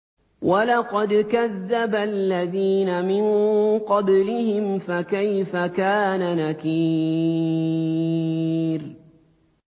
وَلَقَدْ كَذَّبَ الَّذِينَ مِن قَبْلِهِمْ فَكَيْفَ كَانَ نَكِيرِ